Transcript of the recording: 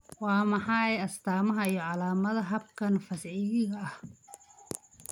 Waa maxay astamahaa iyo calaamadaha xabkan fascikiga ah?